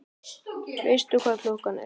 Veistu hvað klukkan er?